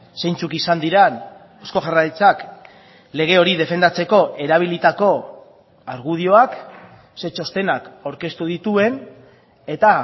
zeintzuk izan diren eusko jaurlaritzak lege hori defendatzeko erabilitako argudioak zein txostenak aurkeztu dituen eta